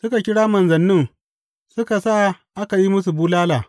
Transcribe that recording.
Suka kira manzannin suka sa aka yi musu bulala.